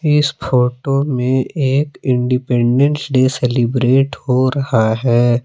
इस फोटो में एक इंडिपेंडेंस डे सेलिब्रेट हो रहा हैं।